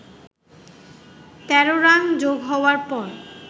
১৩ run যোগ হওয়ার পর